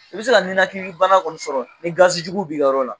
I bɛ se ka nɛnakili bana kɔni sɔrɔ ni gazi jugu b'i ka yɔrɔ la.